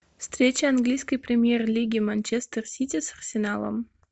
встреча английской премьер лиги манчестер сити с арсеналом